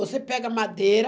Você pega madeira.